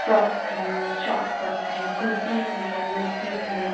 Frocks हैं short skirts हैं कुर्तिज हैं मैक्सीज हैं।